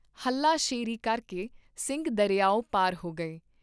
ਹਲਾ ਸ਼ੇਰੀ ਕਰਕੇ ਸਿੰਘ ਦਰਿਆਓ ਪਾਰ ਹੋ ਗਏ